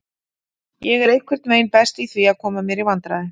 Ég er einhvern veginn best í því, að koma mér í vandræði.